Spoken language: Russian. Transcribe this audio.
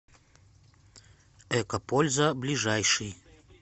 экопольза ближайший